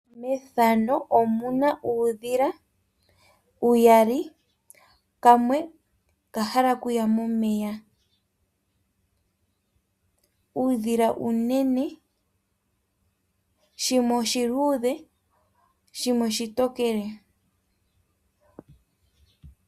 Methano omuna uudhila uyali, kamwe okahala okuya momeya. Uudhila uunene shimwe oshiludhe shimwe oshitokele.